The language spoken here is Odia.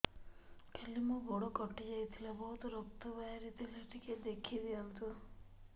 କାଲି ମୋ ଗୋଡ଼ କଟି ଯାଇଥିଲା ବହୁତ ରକ୍ତ ବାହାରି ଥିଲା ଟିକେ ଦେଖି ଦିଅନ୍ତୁ